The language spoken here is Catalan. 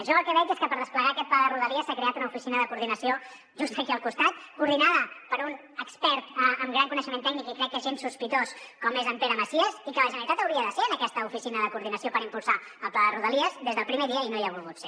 jo el que veig és que per desplegar aquest pla de rodalies s’ha creat una oficina de coordinació just aquí al costat coordinada per un expert amb gran coneixement tècnic i crec que gens sospitós com és en pere macias i que la generalitat hauria de ser en aquesta oficina de coordinació per impulsar el pla de rodalies des del primer dia i no hi ha volgut ser